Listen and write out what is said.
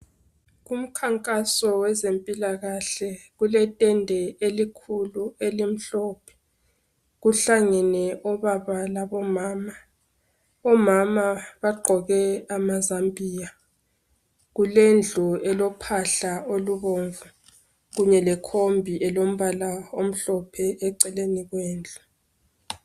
Umkhankaso wezempilakahle. Kuletende elikhulu, elimhlophe. Kuhlangene obaba labomama. Omama bagqoke amazambia, Kulendlu elophahla olubomvu. Kunye lekhombi elombala omhlophe, eceleni kwendlu.